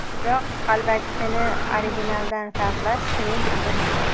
Biroq qalbakisini originaldan farqlash qiyin ish emas.